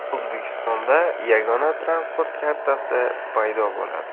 O‘zbekistonda yagona transport kartasi paydo bo‘ladi.